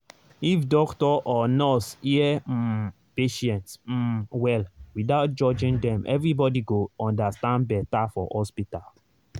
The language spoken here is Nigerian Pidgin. if doctor or nurse hear um patient um well without judging dem everybody go understand better for hospital.